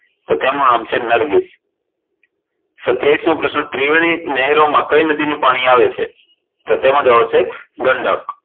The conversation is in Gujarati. તો તેનું નામ છે નરગીસ સત્યાવિશમો પ્રશ્ન, ત્રિવેણી નહેરોમાં કઈ નદીનું પાણી આવે છે? તો તેમાં જવાબ આવશે ગંડક